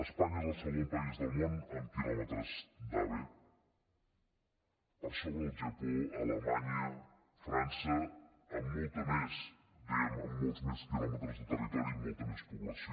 espanya és el segon país del món en quilòmetres d’ave per sobre del japó alemanya frança amb molts més quilòmetres de territori i amb molta més població